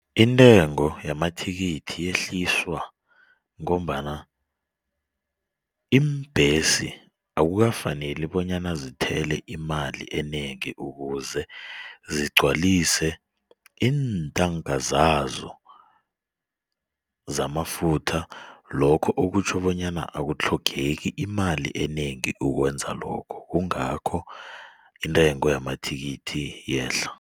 Intengo yamathikithi yehliswa ngombana iimbhesi akukafaneli bonyana zithele imali enengi ukuze zigcwalise iintanka zazo zamafutha. Lokho okutjho bonyana akutlhogeki imali enengi ukwenza lokho kungakho intengo yamathikithi iyehla.